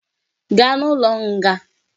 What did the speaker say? Gaa n'ụlọ nga!